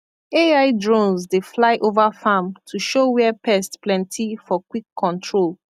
ai drones dey fly over farm to show where pest plenty for quick control